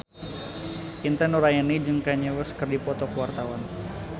Intan Nuraini jeung Kanye West keur dipoto ku wartawan